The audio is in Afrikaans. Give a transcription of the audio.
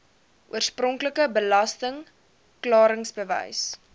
oorspronklike belasting klaringsbewys